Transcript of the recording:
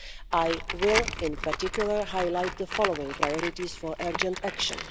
I will, in particular, highlight the following priorities for urgent action.